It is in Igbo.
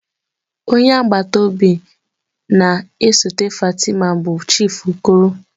Onye agbata obi na-esote Fatima bụ Chief Okoro.